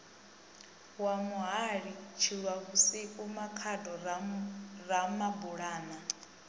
wa muhali tshilwavhusiku makhado ramabulana